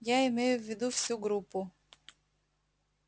я имею в виду всю группу